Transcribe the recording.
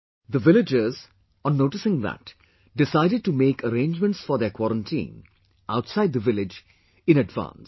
The villagers, on noticing that, decided to make arrangements for their quarantine, outside the village, in advance